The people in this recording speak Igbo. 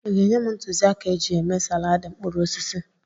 Ị ga-enye m ntụzịaka eji eme salaadị mkpụrụ osisi?